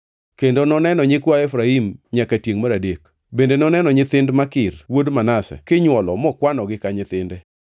Kendo noneno nyikwa Efraim nyaka tiengʼ mar adek. Bende noneno nyithind Makir wuod Manase kinywolo mokwanogi ka nyithinde.